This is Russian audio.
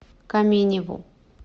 каменеву